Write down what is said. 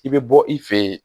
I bɛ bɔ i fɛ yen